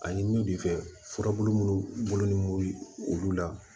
Ani min bɛ fɛ munnu bolonɔnin olu la